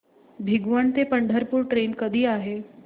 भिगवण ते पंढरपूर ट्रेन कधी आहे